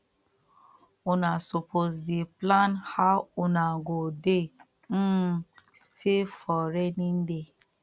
una suppose to dey plan how una go dey um save for rainy day